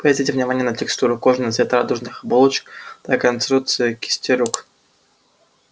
обратите внимание на текстуру кожи на цвет радужных оболочек на конструкцию кистей рук